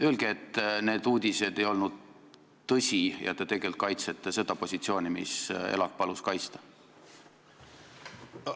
Öelge, et need uudised ei olnud tõsi ja te tegelikult kaitsete seda positsiooni, mida ELAK palus kaitsta!